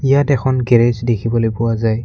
ইয়াতে এখন গৰেজ দেখিবলৈ পোৱা যায়।